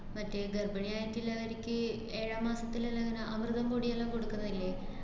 മറ്റേ ഗര്‍ഭിണിയായിട്ടിള്ളവര്ക്ക് ഏഴാം മാസത്തിലെല്ലാം ഇങ്ങനെ അമൃതം പൊടിയെല്ലാം കൊടുക്കുന്നില്ലേ?